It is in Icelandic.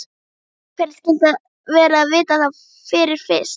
Hvernig skyldi vera að vita það fyrir víst.